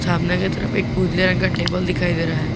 सामने के तरफ एक उजले रंग का टेबल दिखाई दे रहा है।